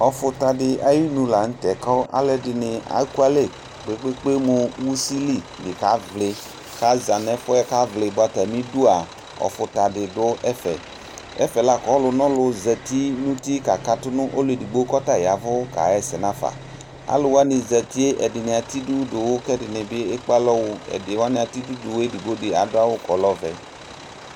Ɔfuta di ayinu lanutɛ aluɛdini ekualɛ kpekpe nu usi li kaka vli ɔfuta di nɛfɛ ɔlɔdi zati nu uti kakatu ɛdini ekpealɔ wu kɛdini atɛ idu duwu kadu awu ku ɔlɛ ɔvɛ